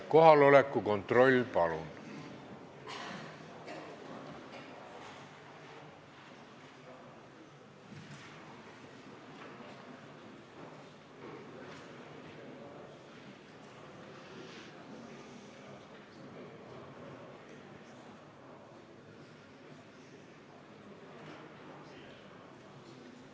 Kohaloleku kontroll, palun!